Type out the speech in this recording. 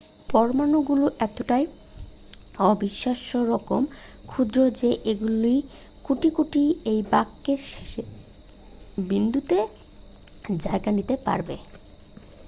পরমাণুগুলো এতটাই অবিশ্বাস্যরকম ক্ষুদ্র যে এগুলির কোটি কোটি এই বাক্যের শেষের বিন্দুটিতে জায়গা নিতে পারবে